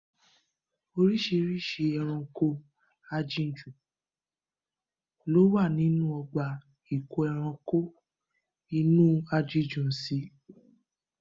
Oríṣìíríṣìí ẹranko ajinjù ló wà nínú ọgbà ìkóẹranko inú aginjù sí.